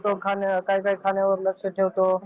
लक्ष ठेवतो काही काही खाण्यावर लक्ष ठेवतो